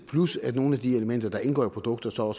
plus at nogle af de elementer der indgår i produktet så